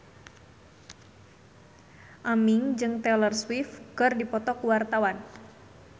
Aming jeung Taylor Swift keur dipoto ku wartawan